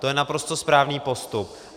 To je naprosto správný postup.